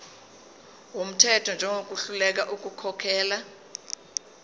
wumthetho njengohluleka ukukhokhela